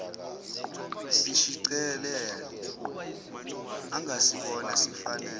sishicilelo angasibona sifanele